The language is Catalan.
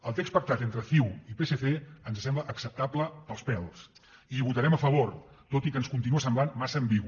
el text pactat entre ciu i psc ens sembla acceptable pels pèls i hi votarem a favor tot i que ens continua semblant massa ambigu